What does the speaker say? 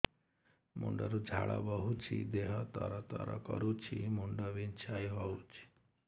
ମୁଣ୍ଡ ରୁ ଝାଳ ବହୁଛି ଦେହ ତର ତର କରୁଛି ମୁଣ୍ଡ ବିଞ୍ଛାଇ ହଉଛି